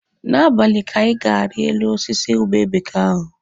N'abalị ka anyị ga-ari elu osisi ube bekee ahụ.